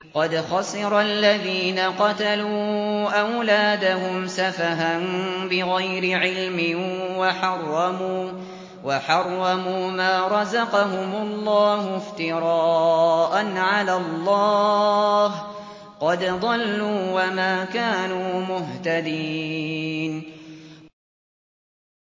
قَدْ خَسِرَ الَّذِينَ قَتَلُوا أَوْلَادَهُمْ سَفَهًا بِغَيْرِ عِلْمٍ وَحَرَّمُوا مَا رَزَقَهُمُ اللَّهُ افْتِرَاءً عَلَى اللَّهِ ۚ قَدْ ضَلُّوا وَمَا كَانُوا مُهْتَدِينَ